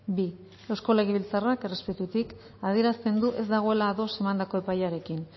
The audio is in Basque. bi eusko legebiltzarrak errespetutik adierazten du ez dagoela ados emandako epaiarekin